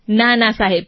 ના ના સાહેબ